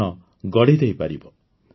ଜୀବନ ଗଢ଼ିପାରିବ